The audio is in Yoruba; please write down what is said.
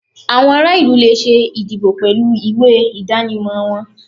Awọn ara ilu le ṣe ìdíbò pẹlu ìwé idanimọ wọn